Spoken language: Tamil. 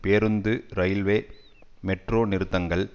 பேருந்து இரயில்வே மெட்ரோ நிறுத்தங்கள்